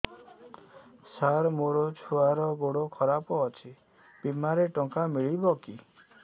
ସାର ମୋର ଛୁଆର ଗୋଡ ଖରାପ ଅଛି ବିମାରେ ଟଙ୍କା ମିଳିବ କି